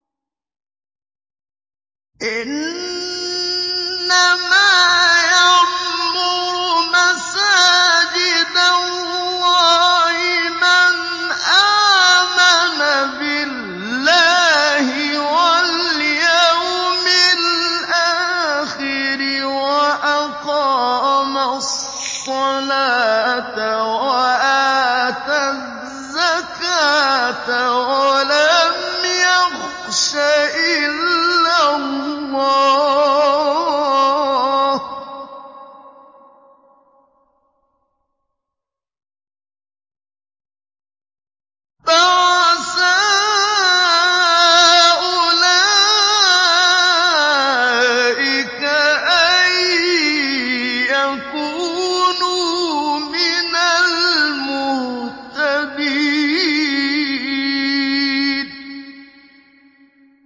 إِنَّمَا يَعْمُرُ مَسَاجِدَ اللَّهِ مَنْ آمَنَ بِاللَّهِ وَالْيَوْمِ الْآخِرِ وَأَقَامَ الصَّلَاةَ وَآتَى الزَّكَاةَ وَلَمْ يَخْشَ إِلَّا اللَّهَ ۖ فَعَسَىٰ أُولَٰئِكَ أَن يَكُونُوا مِنَ الْمُهْتَدِينَ